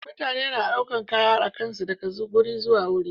Mutane na ɗaukar Kaya akansu daga guri zuwa guri